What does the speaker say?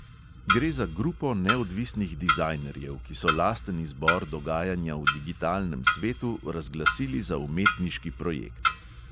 Gre za grupo neodvisnih dizajnerjev, ki so lasten izbor dogajanja v digitalnem svetu razglasili za umetniški projekt.